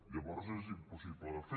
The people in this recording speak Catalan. llavors és impossible de fer